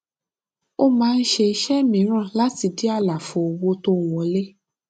ó máa ń ṣe iṣẹ mìíràn láti dí àlàfo owó tó ń wọlé